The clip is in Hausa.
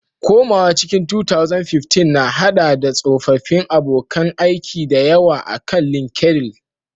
Komawa cikin 2015, na haɗa da tsoffin abokan aiki da yawa akan LinkedIn.